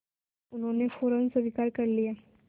जो उन्होंने फ़ौरन स्वीकार कर लिया